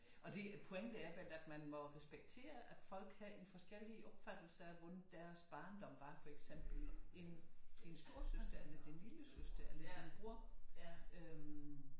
Og det pointen er at man må respektere at folk har en forskellige opfattelser af hvordan deres barndom var for eksempel en storesøster eller din lillesøster eller din bror øh